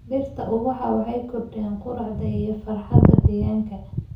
Dhirta ubaxa waxay kordhiyaan quruxda iyo farxadda deegaanka.